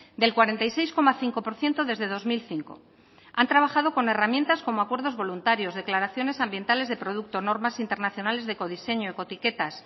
del cuarenta y seis coma cinco por ciento desde dos mil cinco han trabajado con herramientas como acuerdos voluntarios declaraciones ambientales de producto normas internacionales de ecodiseño ecoetiquetas